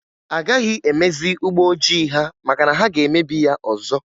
Agaghị emezi ụgbọ ojii ha maka na ha ga-emebi ya ọzọ.